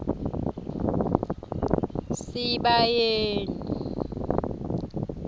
sibayeni